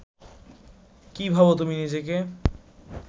কী ভাবো তুমি নিজেকে